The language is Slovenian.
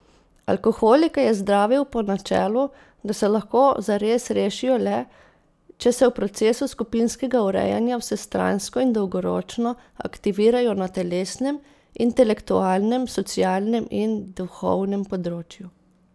Alkoholike je zdravil po načelu, da se lahko zares rešijo le, če se v procesu skupinskega urejanja vsestransko in dolgoročno aktivirajo na telesnem, intelektualnem, socialnem in duhovnem področju.